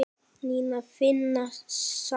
Nína fína sat hjá